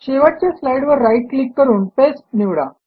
शेवटच्या स्लाईडवर right click करून पास्ते निवडा